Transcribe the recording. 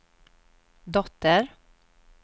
dotter